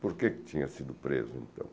Por que tinha sido preso, então?